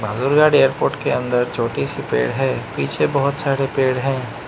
Lurghat airport के अंदर छोटी सी पेड़ है पीछे बहोत सारे पेड़ है।